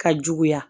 Ka juguya